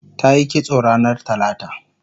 tayi kitso ranar talata